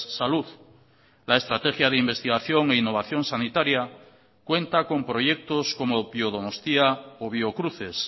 salud la estrategia de investigación e innovación sanitaria cuenta con proyectos como biodonostia o biocruces